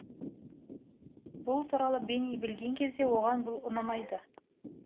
бұл туралы бенни білген кезде оған бұл ұнамайды